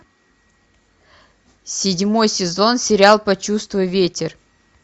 седьмой сезон сериал почувствуй ветер